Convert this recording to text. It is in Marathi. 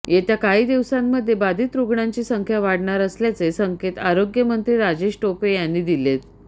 येत्या काही दिवसांमध्ये बाधित रुग्णांची संख्या वाढणार असल्याचे संकेत आरोग्यमंत्री राजेश टोपे यांनी दिलेत